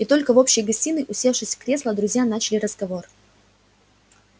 и только в общей гостиной усевшись в кресла друзья начали разговор